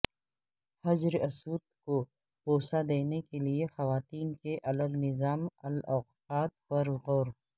حجر اسود کو بوسہ دینے کے لیے خواتین کے الگ نظام الاوقات پرغور